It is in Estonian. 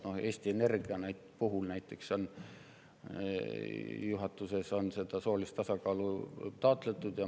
Näiteks Eesti Energia puhul on juhatuses seda soolist tasakaalu taotletud.